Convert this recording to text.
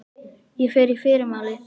Ég fer í fyrramálið.